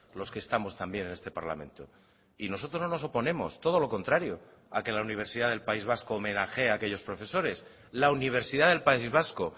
los que estamos también en este parlamento y nosotros no nos oponemos todo lo contrario a que la universidad del país vasco homenajee a aquellos profesores la universidad del país vasco